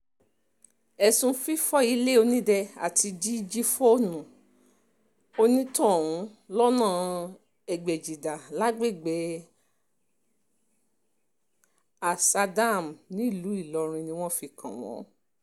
ẹ̀sùn fífọ́ ilẹ̀ onílẹ̀ àti jíjí fóònù onítọ̀hún lọ́nà ègbèjìlá lágbègbè ásà dam nílùú ìlọrin ni wọ́n fi kàn wọ́n